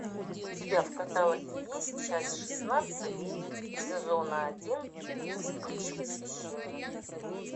у тебя в каталоге есть часть шестнадцать сезона один вспыльчивый священник